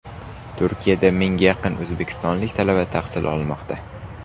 Turkiyada mingga yaqin o‘zbekistonlik talaba tahsil olmoqda.